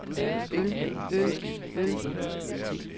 øl øl øl